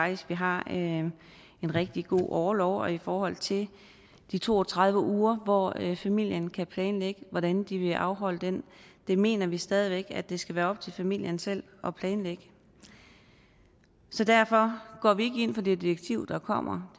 at vi har en rigtig god orlov og i forhold til de to og tredive uger hvor familien kan planlægge hvordan de vil afholde dem mener vi stadig væk at det skal være op til familien selv at planlægge så derfor går vi ikke ind for det direktiv der kommer